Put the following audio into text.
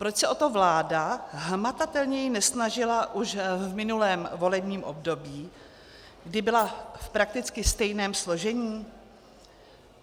Proč se o to vláda hmatatelněji nesnažila už v minulém volebním období, kdy byla v prakticky stejném složení?